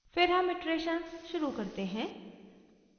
फिर हम इटरेशन्स शुरू करते हैं